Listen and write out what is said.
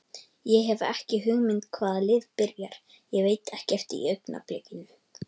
Ég hef ekki hugmynd hvaða lið byrjar, ég veit ekkert í augnablikinu.